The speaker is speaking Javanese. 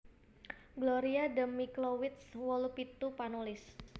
Gloria D Miklowitz wolu pitu panulis